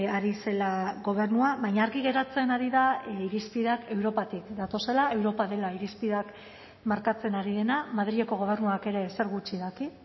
ari zela gobernua baina argi geratzen ari da irizpideak europatik datozela europa dela irizpideak markatzen ari dena madrileko gobernuak ere ezer gutxi daki